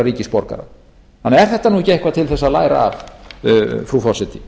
er þetta nú ekki eitthvað til þess að læra af frú forseti